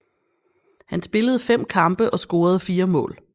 Han spillede fem kampe og scorede fire mål